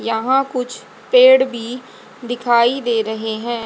यहां कुछ पेड़ भी दिखाई दे रहे हैं।